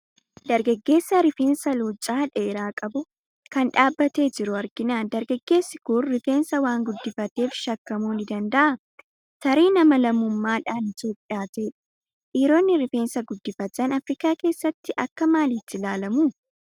Dargaggeessa rifeensa luuccaa dheeraa qabu, kan dhaabbatee jiru argina. Dargaggeessi kun rifeensa waan guddifateef shakkamuu ni danda'a. Tarii nama lammummaa dhaan Itoophiyaa ta'edha. Dhiironni rifeensa guddifatan Afirikaa keessatti akka maaliitti ilaalamu?